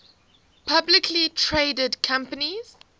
publicly traded companies